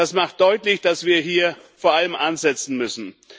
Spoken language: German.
Das macht deutlich, dass wir vor allem hier ansetzen müssen.